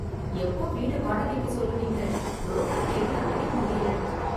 எப்போ வீடு வாடகைக்கு சொல்லுவீங்க புரோக்கர் தேடி அலைய முடியல